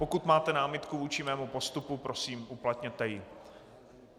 Pokud máte námitku vůči mému postupu, prosím, uplatněte ji.